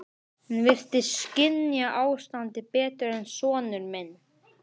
Hún virtist skynja ástandið betur en sonur minn.